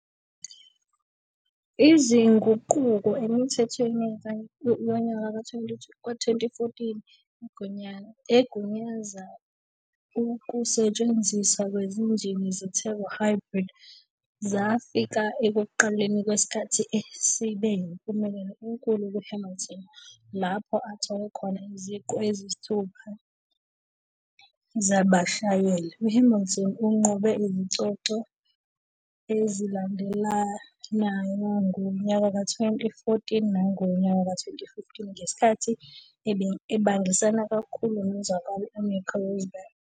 Izinguquko emithethweni ka-2014, egunyaza ukusetshenziswa kwezinjini ze-turbo-hybrid, zafika ekuqaleni kwesikhathi esibe yimpumelelo enkulu kuHamilton, lapho athola khona iziqu eziyisithupha zabashayeli. UHamilton unqobe izicoco ezilandelanayo ngo-2014 nango-2015 ngesikhathi ebangisana kakhulu nozakwabo uNico Rosberg.